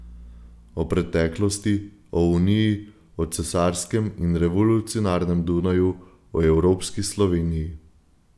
O preteklosti, o Uniji, o cesarskem in revolucionarnem Dunaju, o evropski Sloveniji.